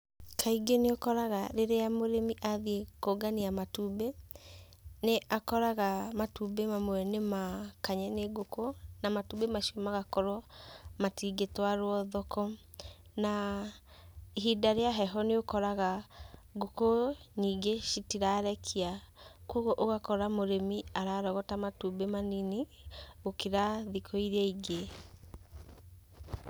Kaingĩ nĩũkoraga rĩrĩa mũrĩmi athiĩ kũngania matumbĩ, nĩ akoraga matumbĩ mamwe nĩma kanye nĩ ngũkũ, na matumbĩ macio magakorwo matingĩtwarwo thoko. Na ihinda rĩa heho nĩũkoraga ngũkũ nyingĩ citirarekia, koguo ũgakora mũrĩmi ararogota matumbĩ manini, gũkĩra thikũ iria ingĩ.